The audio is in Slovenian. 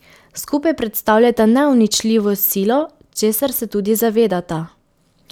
Skupaj predstavljata neuničljivo silo, česar se tudi zavedata.